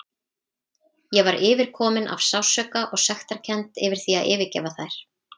Ég var yfirkomin af sársauka og sektarkennd yfir því að yfirgefa þær.